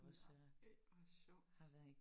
Nåh ej hvor sjovt